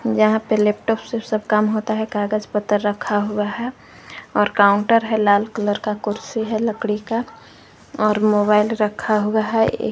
यहां पे लैपटॉप से सब काम होता है कागज पत्तर रखा हुआ है और काउंटर है लाल कलर का कुर्सी है लकड़ी का और मोबाइल रखा हुआ है।